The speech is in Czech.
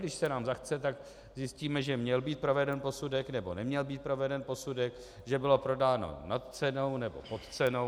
Když se nám zachce, tak zjistíme, že měl být proveden posudek nebo neměl být proveden posudek, že bylo prodáno nad cenou nebo pod cenou.